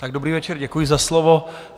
Tak dobrý večer, děkuji za slovo.